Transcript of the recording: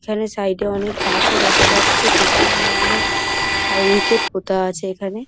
এখানে সাইড -এ গাছও দেখা যাচ্ছে পিছনে অনেক আর উইকেট পোতা আছে এখানে।